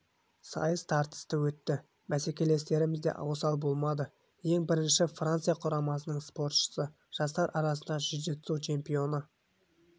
сайыс тартысты өтті бәскелестеріміз де осал болмады ең бірінші франция құрамасының спортшысы жастар арасындағы джиу-джитсу чемпионы